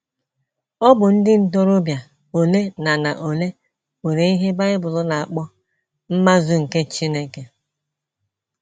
Ọ bụ ndị ntorobịa ole na na ole nwere ihe Bible na - akpọ “ mmazu nke Chineke. ”